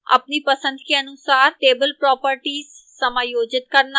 अपनी पसंद के अनुसार table properties समायोजित करना